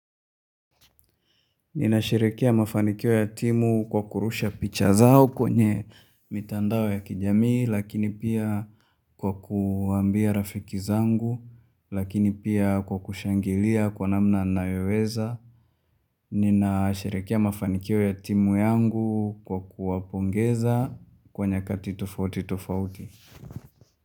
Ninasherekea mafanikio ya timu kwa kurusha picha zao kwenye mitandao ya kijamii lakini pia kwa kuambia rafiki zangu lakini pia kwa kushangilia kwa namna nayoweza. Ninasherekea mafanikio ya timu yangu kwa kuwapongeza kwa nyakati tofauti tofauti.